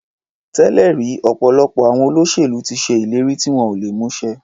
Tẹ́lẹ̀ rí ọ̀pọ̀lọpọ̀ àwọn olóṣèlú ti ṣe ìlérí tí wọn ò lè mú ṣẹ.